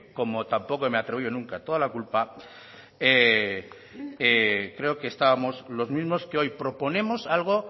como tampoco me atribuyo nunca toda la culpa creo que estábamos los mismos que hoy proponemos algo